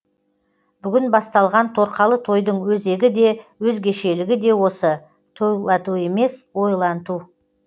бүгін басталған торқалы тойдың өзегі де өзгешелігі де осы тойлату емес ойланту